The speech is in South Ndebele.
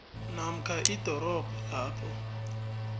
namkha idorobha lapho